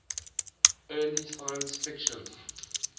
early science fiction